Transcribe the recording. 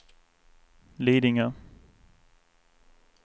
Lidingö